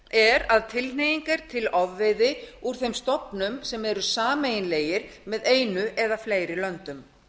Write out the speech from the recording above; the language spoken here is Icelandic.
er að tilhneiging er til ofveiði úr þeim stofnum eru sameiginlegir með einu eða fleiri löndum